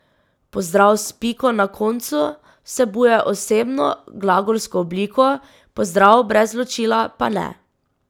Pozdrav s piko na koncu vsebuje osebno glagolsko obliko, pozdrav brez ločila pa ne.